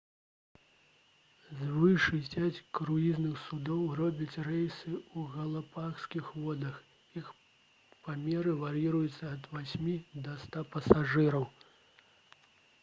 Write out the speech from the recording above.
звыш 60 круізных судоў робяць рэйсы у галапагаскіх водах іх памеры вар'іруюцца ад 8 да 100 пасажыраў